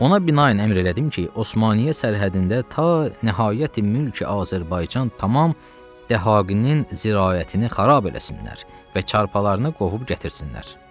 Ona binaən əmr elədim ki, Osmaniyyə sərhədində ta nəhayəti-mülkü-Azərbaycan tamam dəhaqinin ziraətini xarab eləsinlər və çarpalarını qovub gətirsinlər.